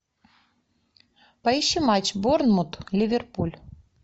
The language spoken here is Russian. поищи матч борнмут ливерпуль